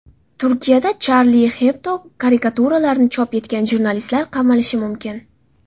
Turkiyada Charlie Hebdo karikaturalarini chop etgan jurnalistlar qamalishi mumkin.